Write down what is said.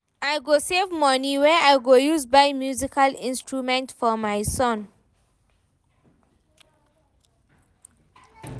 I go save moni wey I go use buy musical instrument for my son.